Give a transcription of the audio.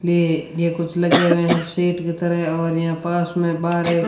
ये कुछ लगे हुए हैं सेट की तरह और यहां पास में बाहर